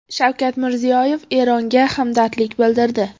Shavkat Mirziyoyev Eronga hamdardlik bildirdi.